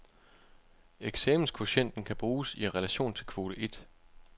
Eksamenskvotienten kan bruges i relation til kvote et.